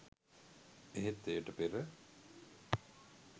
එහෙත් එයට පෙර